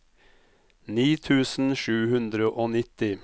ni tusen sju hundre og nitti